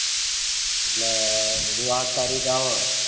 એલે બધું આઠ તરીકે આવે